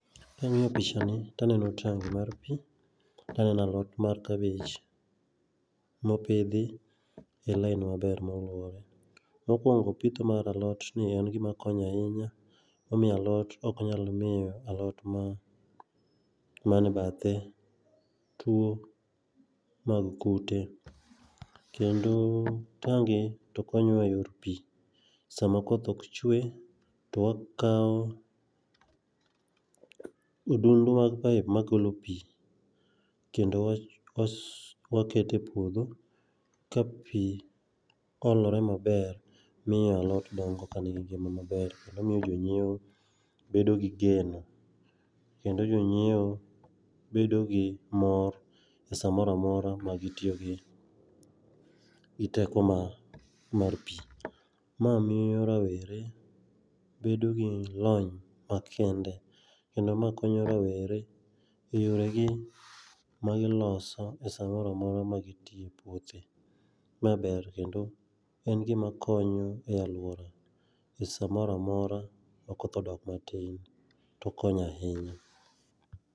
Kang'iyo pichani to aneno tangi mar pii to aneno alot mar cabbage mopidhi e line maber moluore. Mokuongo pitho mar alotni en gima konyo ahinya momiyo alot ok nyal miyo alot ma mane bathe tuo mag kute. Kendo tangi to konyowa eyor pii sama koth ok chue to wakawo odundu mag pipe makelo pii kendo waketo epuodho ka pii olore maber miyogi alot dongo kanigi ngima maber kendo miyo jonyiewo bedogi geno kendo jonyiewo bedo gi mor e samoro amora magi tiyogi teko ma mar pii. Ma miyo rawere bedo gi lony makende. Kendo ma konyo rawere eyoregi magi loso e samoro amora ma gi tiyo epouothe. Ma ber kendo en gima konyo e aluora e samoro amora makoth odok matin. To okonyo ahinya.